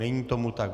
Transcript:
Není tomu tak.